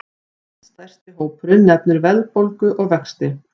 Næststærsti hópurinn nefnir verðbólgu og vexti